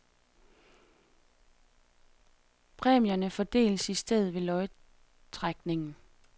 Præmierne fordeles i stedet ved lodtrækning.